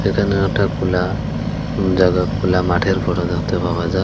এখানে একটা খোলা জায়গা খোলা মাঠের ফটো দেখতে পাওয়া যায়।